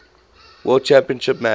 world championship match